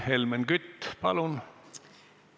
Helmen Kütt, palun!